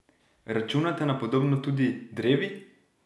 Računate na podobno tudi drevi?